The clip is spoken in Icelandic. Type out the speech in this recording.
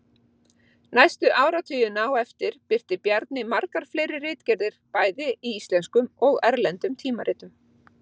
Næstu áratugina á eftir birti Bjarni margar fleiri ritgerðir bæði í íslenskum og erlendum tímaritum.